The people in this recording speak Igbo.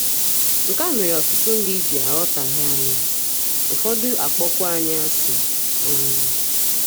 Nke a mere ọtụtụ ndị ji aghọtahie anyị, ụfọdụ akpọkwuo anyị asị um.